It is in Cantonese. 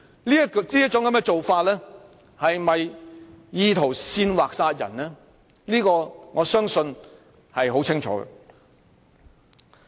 他的言論是否意圖煽惑他人殺人，我相信是很清楚的。